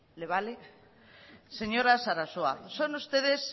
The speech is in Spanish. señora sarasua son ustedes